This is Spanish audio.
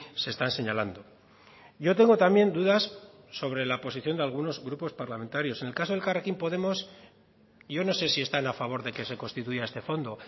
se están señalando yo tengo también dudas sobre la posición de algunos grupos parlamentarios en el caso de elkarrekin podemos yo no sé si están a favor de que se constituya este fondo